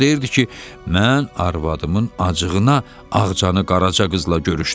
O deyirdi ki, mən arvadımın acığına Ağcanı qaraca qızla görüşdürürdüm.